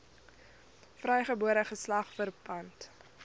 vrygebore geslag verpand